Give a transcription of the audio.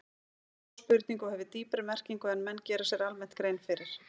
Þetta er góð spurning og hefur dýpri merkingu en menn gera sér almennt grein fyrir.